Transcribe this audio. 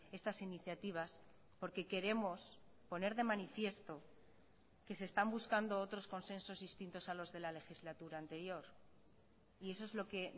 estas iniciativas porque queremos poner de manifiesto que se están buscando otros consensos distintos a los de la legislatura anterior y eso es lo que